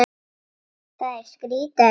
Það er skrýtið að heyra.